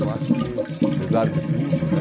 Eu acho que, apesar de tudo, né?